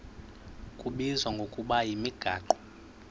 kubizwa ngokuba yimigaqo